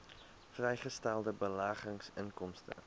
vrygestelde beleggingsinkomste